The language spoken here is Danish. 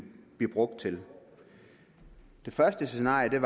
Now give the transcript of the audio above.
blive brugt til det første scenarie